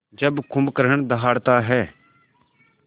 जब कुंभकर्ण दहाड़ता है